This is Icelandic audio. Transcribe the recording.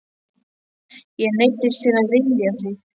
Ég neyddist til að vilja þig.